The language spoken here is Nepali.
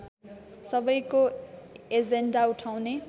सबैको एजेण्डा उठाउने